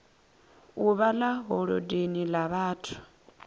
uvha ḽa holodeni ḽa vhathu